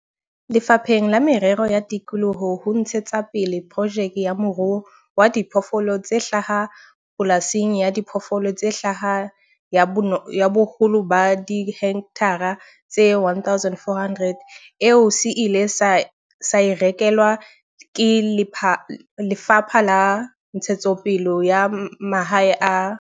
Lefapheng la Merero ya Tikoloho ho ntshe tsapele projeke ya moruo wa diphoofolo tse hlaha pola sing ya diphoofolo tse hlaha ya boholo ba dihekthara tse 1 400, eo se ileng sa e rekelwa ke Lefapha la Ntshetsopele ya Mahae le Tlhabollo ya Mobu.